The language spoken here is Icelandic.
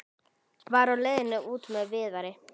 Var á leiðinni út með Viðari.